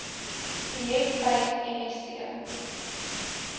projek vyf msc